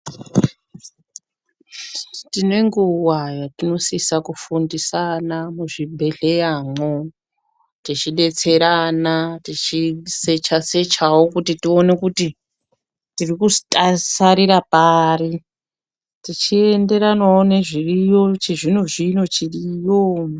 Tine nguwa yatinosisa kufundisa ana kuzvibhehleyamwo tichidetserana tichisecha sechawo kuti tione kuti tiri kusararira pari tichienderanawo nezviriyo chizvino zvino chiriyo.